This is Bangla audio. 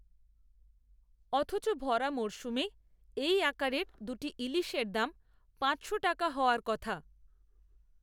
অথচ ভরা মরসুমে এই আকারের দু’টি ইলিশের দাম পাঁচশো টাকা হওয়ার কথা!